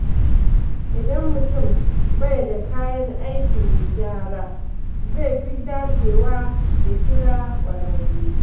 Idan mutum bai da kayan aikin gyara, zai fi dacewa ya kira ƙwararre.